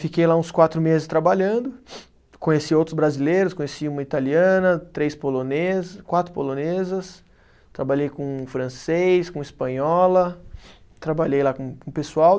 Fiquei lá uns quatro meses trabalhando, conheci outros brasileiros, conheci uma italiana, três polone, quatro polonesas, trabalhei com francês, com espanhola, trabalhei lá com com o pessoal.